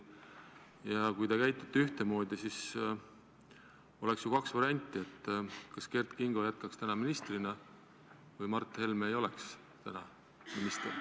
Ja kui te käitute ühtemoodi, siis oleks ju kaks varianti: kas Kert Kingo jätkaks täna ministrina või Mart Helme ei oleks enam minister.